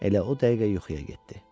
Elə o dəqiqə yuxuya getdi.